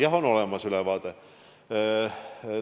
Jah, ülevaade on olemas.